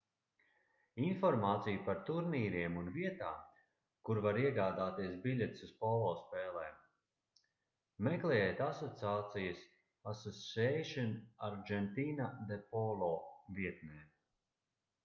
informāciju par turnīriem un vietām kur var iegādāties biļetes uz polo spēlēm meklējiet asociācijas asociacion argentina de polo vietnē